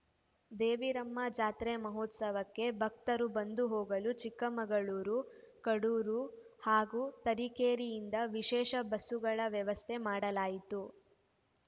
ದೇವಿರಮ್ಮ ಜಾತ್ರಾ ಮಹೋತ್ಸವಕ್ಕೆ ಭಕ್ತರು ಬಂದು ಹೋಗಲು ಚಿಕ್ಕಮಗಳೂರು ಕಡೂರು ಹಾಗೂ ತರೀಕೆರೆಯಿಂದ ವಿಶೇಷ ಬಸ್ಸುಗಳ ವ್ಯವಸ್ಥೆ ಮಾಡಲಾಯಿತು